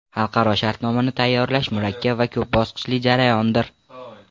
Xalqaro shartnomani tayyorlash murakkab va ko‘p bosqichli jarayondir.